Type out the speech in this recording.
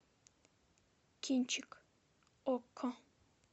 кинчик окко